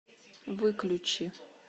выключи